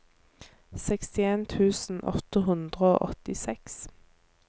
sekstien tusen åtte hundre og åttiseks